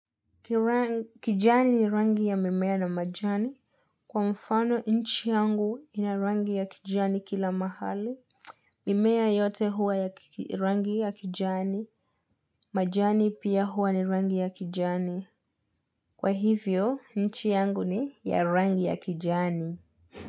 Kijani ni rangi ya mimea na majani. Kwa mfano nchi yangu ina rangi ya kijani kila mahali. Mimea yote huwa ya rangi ya kijani, majani pia huwa ni rangi ya kijani. Kwa hivyo, nchi yangu ni ya rangi ya kijani.